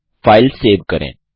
अब file save करें